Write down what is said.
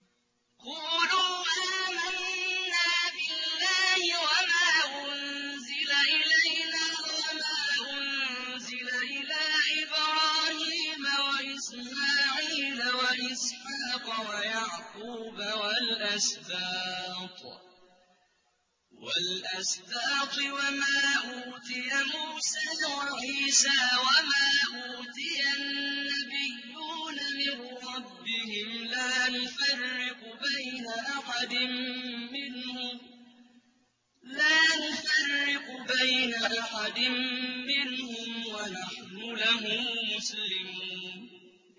قُولُوا آمَنَّا بِاللَّهِ وَمَا أُنزِلَ إِلَيْنَا وَمَا أُنزِلَ إِلَىٰ إِبْرَاهِيمَ وَإِسْمَاعِيلَ وَإِسْحَاقَ وَيَعْقُوبَ وَالْأَسْبَاطِ وَمَا أُوتِيَ مُوسَىٰ وَعِيسَىٰ وَمَا أُوتِيَ النَّبِيُّونَ مِن رَّبِّهِمْ لَا نُفَرِّقُ بَيْنَ أَحَدٍ مِّنْهُمْ وَنَحْنُ لَهُ مُسْلِمُونَ